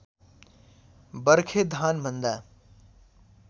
बर्खे धान भन्दा